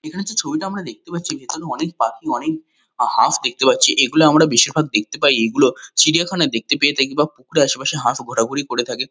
এখানে যে ছবিটা আমরা দেখতে পাচ্ছি এখানে অনেক পাখি অনেক হাঁস দেখতে পাচ্ছি। এগুলো আমরা বেশিরভাগ দেখতে পাই এগুলো চিড়িয়াখানায় দেখতে পেয়ে থাকি বা পুকুরের আশেপাশে হাঁস ঘোরাঘুরি করে থাকে।